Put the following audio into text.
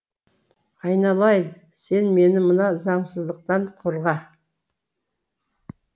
айналайын сен мені мына заңсыздықтан қорға